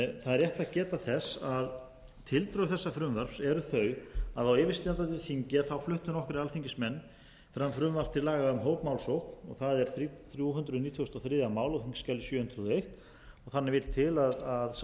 það er rétt að geta þess að tildrög þessa frumvarps eru þau að á yfirstandandi þingi fluttu nokkrir alþingismenn fram frumvarp til laga um hópmálsókn það er þrjú hundruð nítugasta og þriðja mál á þingskjali sjö hundruð og eitt þannig vill til að sá